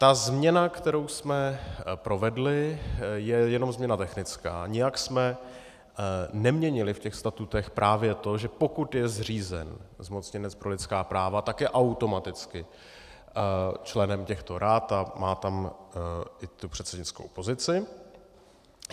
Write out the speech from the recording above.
Ta změna, kterou jsme provedli, je jenom změna technická, nijak jsme neměnili v těch statutech právě to, že pokud je zřízen zmocněnec pro lidská práva, tak je automaticky členem těchto rad a má tam i tu předsednickou pozici.